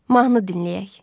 Mahnı dinləyək.